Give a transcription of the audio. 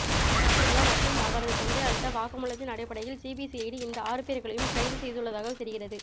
உதித் சூர்யா மற்றும் அவரது தந்தை அளித்த வாக்குமூலத்தின் அடிப்படையில் சிபிசிஐடி இந்த ஆறு பேர்களையும் கைது செய்துள்ளதாக தெரிகிறது